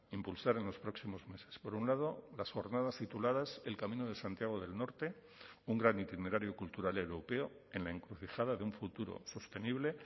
impulsar en los próximos meses por un lado las jornadas tituladas el camino de santiago del norte un gran itinerario cultural europeo en la encrucijada de un futuro sostenible